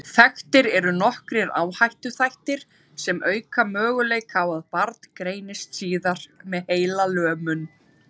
Þekktir eru nokkrir áhættuþættir sem auka möguleika á að barn greinist síðar með heilalömun.